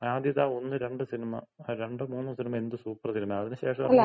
ആദ്യത്തെ ആ ഒന്ന് രണ്ട് സിനിമ ആ രണ്ട് മൂന്ന് സിനിമ എന്ത്‌ സൂപ്പർ സിനിമയാ. അതിന് ശേഷം